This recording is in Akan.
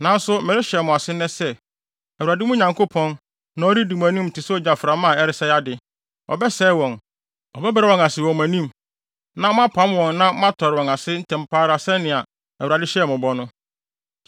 Nanso merehyɛ mo ase nnɛ sɛ, Awurade, mo Nyankopɔn, na ɔredi mo anim te sɛ ogyaframa a ɛresɛe ade. Ɔbɛsɛe wɔn. Ɔbɛbrɛ wɔn ase wɔ mo anim. Na moapam wɔn na moatɔre wɔn ase ntɛm pa ara sɛnea Awurade hyɛɛ mo bɔ no.